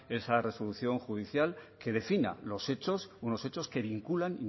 esa resolución judicial que defina los hechos unos hechos que vinculan